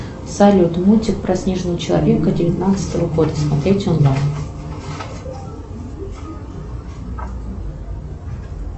салют мультик про снежного человека девятнадцатого года смотреть онлайн